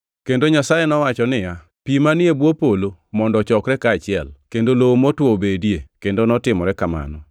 Kendo Nyasaye nowacho niya, “Pi manie bwo polo mondo ochokre kaachiel, kendo lowo motwo obedie.” Kendo notimore kamano.